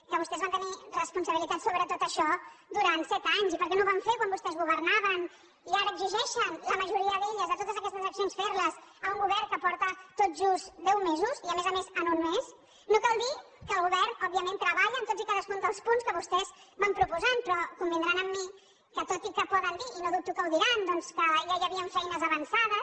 que vostès van tenir responsabilitats sobre tot això durant set anys i per què no ho van fer quan vostès governaven i ara exigeixen la majoria d’elles de totes aquestes accions fer les a un govern que porta tot just deu mesos i a més a més en un mes no cal dir que el govern òbviament treballa en tots i cadascun dels punts que vostès van proposant però convindran amb mi que tot i que poden dir i no dubto que ho diran doncs que ja hi havia feines avançades